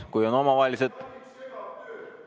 Kui on omavahelised ...